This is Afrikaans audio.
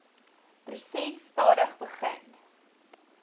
proses stadig begin